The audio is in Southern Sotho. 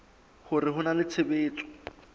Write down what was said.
hore ho na le tshebetso